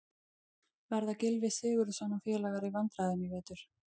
Verða Gylfi Sigurðsson og félagar í vandræðum í vetur?